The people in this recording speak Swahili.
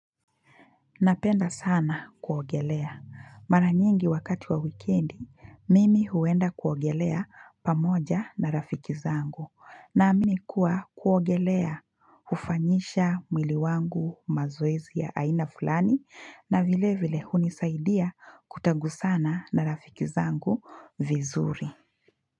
Napenda sana kuogelea. Mara nyingi wakati wa wikendi, mimi huenda kuogelea pamoja na rafiki zangu. Na amini kuwa kuogelea hufanyisha mwili wangu mazoezi ya aina fulani, na vile vile hunisaidia kutagusana na rafiki zangu vizuri.